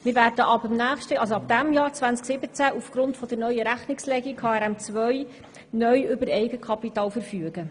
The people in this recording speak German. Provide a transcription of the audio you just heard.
Wir werden ab 2017 aufgrund der neuen Rechnungslegung mit HRM2 neu über Eigenkapital verfügen.